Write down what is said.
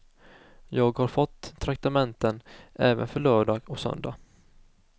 Jag har fått traktamenten även för lördag och söndag.